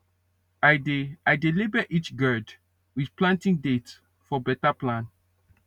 i dey i dey label each gourd with planting date for better plan